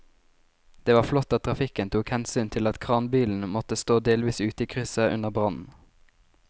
Det var flott at trafikken tok hensyn til at kranbilen måtte stå delvis ute i krysset under brannen.